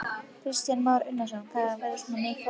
Kristján Már Unnarsson: Þarf þetta að vera svona flókið?